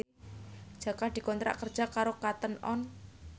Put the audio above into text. Jaka dikontrak kerja karo Cotton On